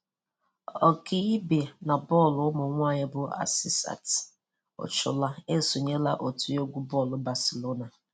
Ọkaibe na bọọlụ ụmụnwaanyị bụ Asisat Oshola esonyela otu egwu bọọlụ Barcelona.